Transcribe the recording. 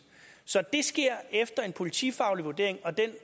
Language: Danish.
så det sker efter en politifaglig vurdering og den